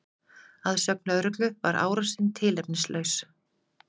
Að sögn lögreglu var árásin tilefnislaus